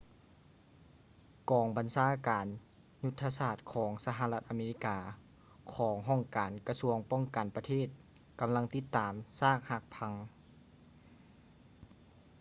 ກອງບັນຊາການຍຸດທະສາດຂອງສະຫະລັດອາເມລິກາຂອງຫ້ອງການກະຊວງປ້ອງກັນປະເທດກຳລັງຕິດຕາມຊາກຫັກພັງ